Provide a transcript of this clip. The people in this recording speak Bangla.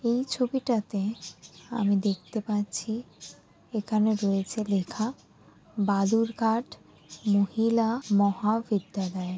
এই ছবিটাতে আমি দেখতে পাচ্ছি এখানে রয়েছে লেখা বালুরঘাট মহিলা মহাবিদ্যালয়।